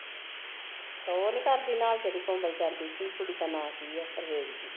ਓਹ ਨੀ ਕਰਦੀ ਨਾਲ਼ ਜੇਹੜੀ ਕੁੜੀ ਦਾ ਨਾ ਕੀ ਆ